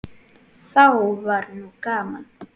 Þá var nú gaman.